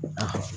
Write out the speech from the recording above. Ah